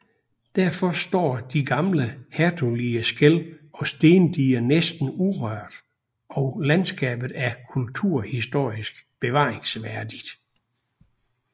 Derfor står de gamle hertugelige skel og stendiger næsten urørte og landskabet er kulturhistorisk bevaringsværdigt